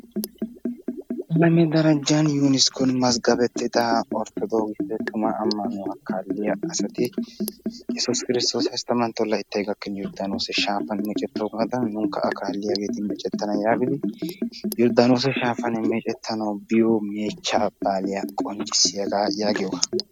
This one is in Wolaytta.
salo gufantto yuneskkoni xaafettida orthodokisse amanuwa kaaliya assati yessus kirstoosi hasttamantto llayttani yordanoosee shaafanni meeccetogadanni nuunikka meccettana giidi bonchchiyo meechcha baaliya qonccisiyoga giyogga.